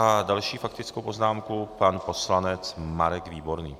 A další faktickou poznámku pan poslanec Marek Výborný.